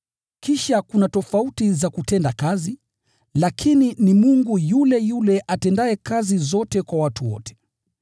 Kisha kuna tofauti za kutenda kazi, lakini ni Mungu yule yule atendaye kazi zote kwa watu wote.